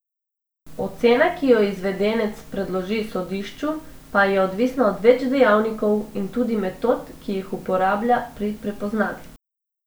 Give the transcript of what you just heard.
Ocena, ki jo izvedenec predloži sodišču, pa je odvisna od več dejavnikov in tudi metod, ki jih uporablja pri prepoznavi.